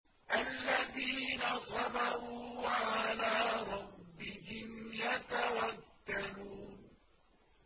الَّذِينَ صَبَرُوا وَعَلَىٰ رَبِّهِمْ يَتَوَكَّلُونَ